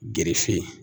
Gerefe